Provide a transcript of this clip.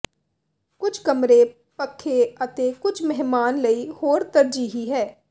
ਕੁਝ ਕਮਰੇ ਪੱਖੇ ਅਤੇ ਕੁਝ ਮਹਿਮਾਨ ਲਈ ਹੋਰ ਤਰਜੀਹੀ ਹੈ